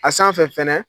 A sanfɛ fɛnɛ